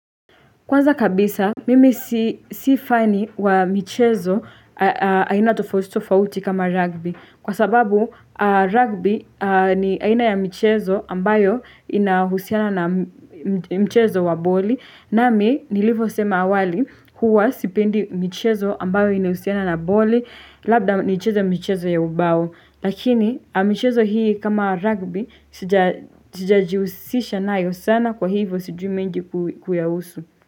Kwanza kabisa, mimi si fani wa michezo aina tofauti tofauti kama rugby. Kwa sababu, rugby ni aina ya michezo ambayo inahusiana na michezo wa boli. Nami, nilivyosema awali huwa sipendi michezo ambayo inahusiana na boli, labda nicheze michezo ya ubao. Lakini michezo hii kama rugby sijajihusisha nayo sana kwa hivyo sijui mengi kuyahusu.